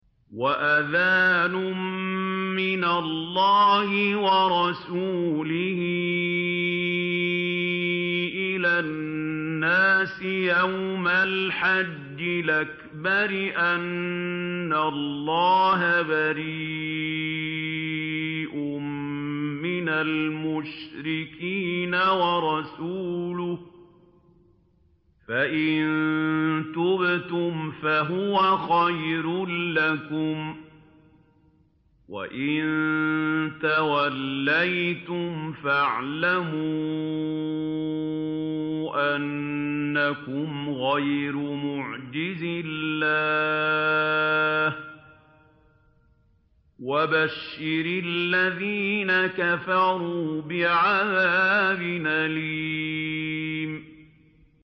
وَأَذَانٌ مِّنَ اللَّهِ وَرَسُولِهِ إِلَى النَّاسِ يَوْمَ الْحَجِّ الْأَكْبَرِ أَنَّ اللَّهَ بَرِيءٌ مِّنَ الْمُشْرِكِينَ ۙ وَرَسُولُهُ ۚ فَإِن تُبْتُمْ فَهُوَ خَيْرٌ لَّكُمْ ۖ وَإِن تَوَلَّيْتُمْ فَاعْلَمُوا أَنَّكُمْ غَيْرُ مُعْجِزِي اللَّهِ ۗ وَبَشِّرِ الَّذِينَ كَفَرُوا بِعَذَابٍ أَلِيمٍ